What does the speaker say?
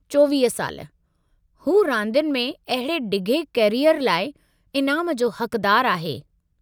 चौवीह साल। हू रांदियुनि में अहिड़े डिघे कैरीयर लाइ इनामु जो हक़दारु आहे।